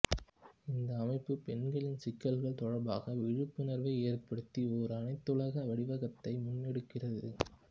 இந்த அமைப்பு பெண்களின் சிக்கல்கள் தொடர்பாக விழிப்புணர்வை ஏற்படுத்த ஒரு அனைத்துலக வடிவகத்தை முன்னெடுக்கிறது